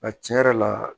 A tiɲɛ yɛrɛ la